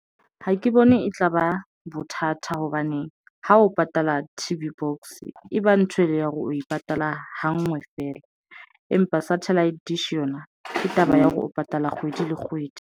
Ha ke bone e tlaba bothata hobane ha o patala T_V box, e ba ntho e le ya hore o e patala hangwe fela empa Satellite Dish yona ke taba ya hore o patala kgwedi le kgwedi.